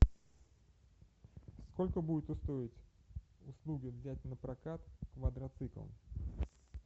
сколько будет стоить услуга взять напрокат квадроцикл